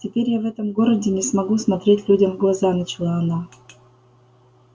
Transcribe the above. теперь я в этом городе не смогу смотреть людям в глаза начала она